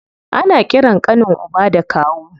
Ana ƙiran ƙanin uba da kawu.